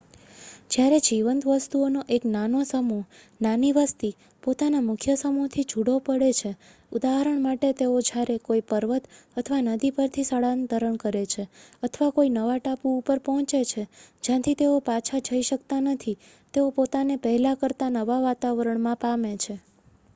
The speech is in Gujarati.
જયારે જીવંત વસ્તુઓનો એક નાનો સમૂહ નાની વસ્તી પોતાનાં મુખ્ય સમૂહ થી જુદો પડે છે ઉદાહરણ માટે તેઓ જયારે કોઈ પર્વત અથવા નદીપરથી સ્થળાંતર કરે છે અથવા કોઈ નવા ટાપુ ઉપર પોહચે છે જ્યાંથી તેઓ પાછા જઈ શકતા નથી તેઓ પોતાને પહેલા કરતા નવા વાતાવરણમાં પામે છે